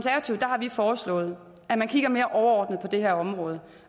foreslået at man kigger mere overordnet på det her område